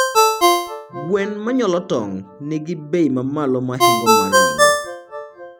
Gwen manyuolo tong nigi bei mamalo mahingo mag ringo